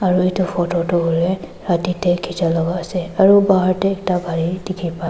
aro edu photo toh hoilae rati tae khichi la ase aru bahar tae ekta gari dikhipa--